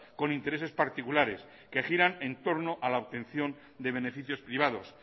con intereses particulares que giran en torno a la obtención de beneficios privados